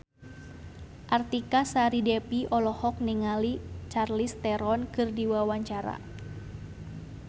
Artika Sari Devi olohok ningali Charlize Theron keur diwawancara